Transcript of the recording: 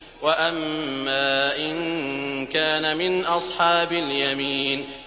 وَأَمَّا إِن كَانَ مِنْ أَصْحَابِ الْيَمِينِ